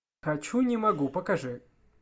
хочу не могу покажи